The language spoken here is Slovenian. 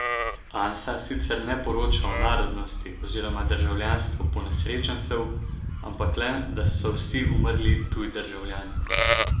Ansa sicer ne poroča o narodnosti oziroma državljanstvu ponesrečencev, ampak le, da so vsi umrli tuji državljani.